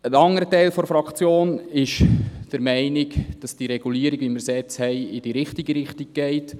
Ein anderer Teil der Fraktion ist der Meinung, dass die Regulierung, wie wir sie jetzt haben, in die richtige Richtung geht.